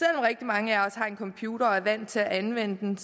rigtig mange af os har en computer og er vant til at anvende den